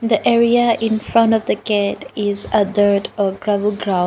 the area in front of the gate is a dirt or gravel ground.